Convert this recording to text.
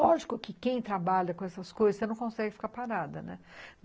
Lógico que quem trabalha com essas coisas, você não consegue ficar parada, né?